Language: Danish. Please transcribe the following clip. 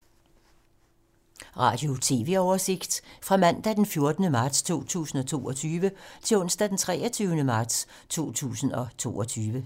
Radio/TV oversigt fra mandag d. 14. marts 2022 til onsdag d. 23. marts 2022